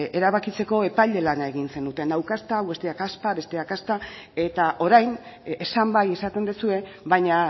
erabakitzeko epaile lana egin zenuten hau kasta hau bestea kaspa bestea kasta eta orain esan bai esaten duzue baina